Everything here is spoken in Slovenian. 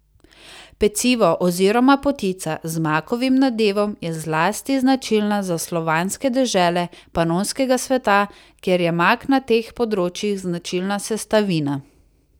Pecivo oziroma potica z makovim nadevom je zlasti značilna za slovanske dežele panonskega sveta, ker je mak na teh področjih značilna sestavina.